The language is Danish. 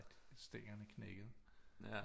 At stængerne knækkede